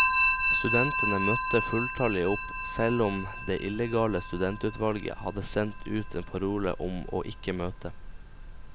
Studentene møtte fulltallige opp, selv om det illegale studentutvalget hadde sendt ut en parole om å ikke møte.